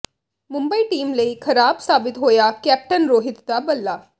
Mumbai team ਲਈ ਖਰਾਬ ਸਾਬਿਤ ਹੋਇਆ ਕੈਪਟਨ ਰੋਹਿਤ ਦਾ ਬੱਲਾ